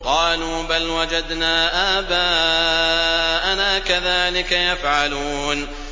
قَالُوا بَلْ وَجَدْنَا آبَاءَنَا كَذَٰلِكَ يَفْعَلُونَ